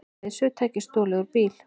Leiðsögutæki stolið úr bíl